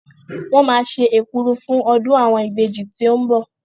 Wọ́n máa ṣe èkuru fún ọdún àwọn ìbejì tí ó ń bọ̀.